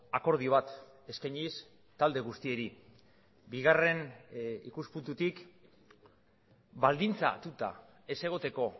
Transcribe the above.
akordio bat eskainiz talde guztiei bigarren ikuspuntutik baldintzatuta ez egoteko